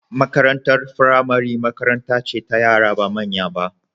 Makarantar firamare makaranta ce ta yara ba manya ba.